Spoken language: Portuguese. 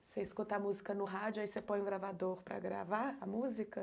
Você escuta a música no rádio, aí você põe o gravador para gravar a música?